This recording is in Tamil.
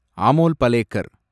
அமோல் பலேகர்